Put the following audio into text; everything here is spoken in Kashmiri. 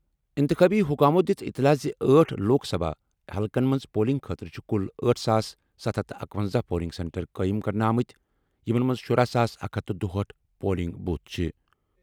اِنتِخابی حُکامو دِژ اطلاع زِ آٹھ لوک سبھا حلقن منٛز پولنگ خٲطرٕ چھِ کُل أٹھ ساس ستھ ہتھ تہٕ اکونزہ پولنگ سینٹر قٲیِم کرنہٕ آمٕتۍ یِمَن منٛز شراہ ساس اکھ ہتھ تہٕ دُہأٹھ پولنگ بوتھ چھِ۔